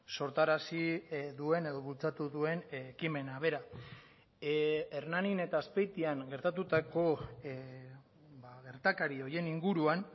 sortarazi duen edo bultzatu duen ekimena bera hernanin eta azpeitian gertatutako gertakari horien inguruan